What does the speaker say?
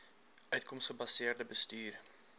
uitkoms gebaseerde bestuur